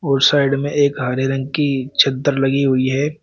और साइड में एक हरे रंग की चद्दर लगी हुई है।